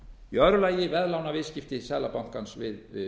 í öðru lagi veðlánaviðskipti seðlabankans við